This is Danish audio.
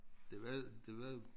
Det var det var